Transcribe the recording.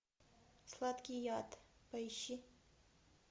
сладкий яд поищи